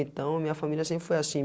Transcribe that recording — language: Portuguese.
Então, minha família sempre foi assim.